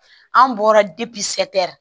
An bɔra sɛri